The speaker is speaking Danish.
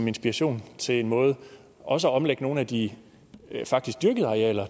inspiration til en måde også at omlægge nogle af de faktisk dyrkede arealer